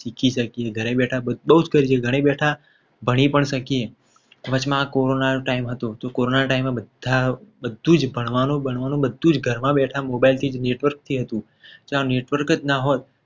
શીખી શકીએ. ઘરે બેઠા બધું જ કરીએ ઘરે બેઠા ભાણી પણ શકીએ વચમાં કોરોના નો time હતો. બધા જ બધું ભણવાનું ભણવાનું બધું જ ઘરમાં બેઠે mobile માં network થી હતું. જ્યાં network જ ના હોત.